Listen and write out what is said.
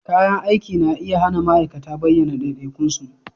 Kayan aiki na iya hana ma'aikata bayyana ɗaiɗaikun su